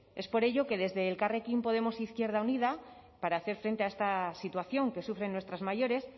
es por ello que desde elkarrekin podemos e izquierda unida para hacer frente a esta situación que sufren nuestras mayores